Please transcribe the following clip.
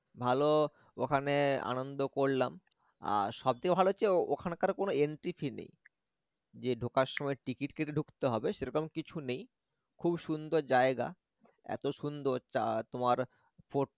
ভাল ওখানে আনন্দ করলাম আর সব চেয়ে ভাল হচ্ছে ওখানকার কোন entry fee নেই যে ঢোকার সময় ticket কেটে ঢুকতে হবে সেরম কিছু নেই খুব সুন্দর জায়গা এত সুন্দর তা তোমার fort টা